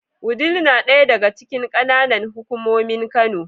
Wudil na ɗaya daga cikin ƙananan hukumomin Kano.